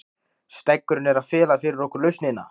Steggurinn er að fela fyrir okkur lausnina.